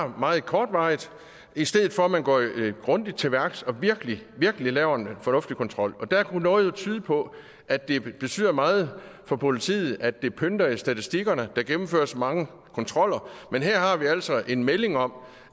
meget kortvarig i stedet for at man går grundigt til værks og virkelig virkelig laver en fornuftig kontrol og der kunne noget jo tyde på at det betyder meget for politiet at det pynter i statistikkerne der gennemføres mange kontroller men her har vi altså en melding om